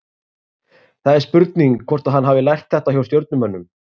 Það er spurning hvort að hann hafi lært þetta hjá Stjörnumönnum?